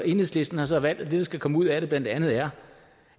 enhedslisten har så valgt at det der skal komme ud af det blandt andet er